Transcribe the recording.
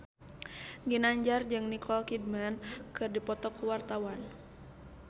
Ginanjar jeung Nicole Kidman keur dipoto ku wartawan